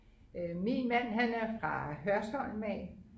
min mand han er fra Hørsholm af